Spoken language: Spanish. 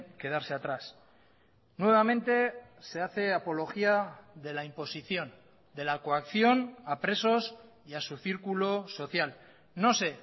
quedarse atrás nuevamente se hace apología de la imposición de la coacción a presos y a su círculo social no sé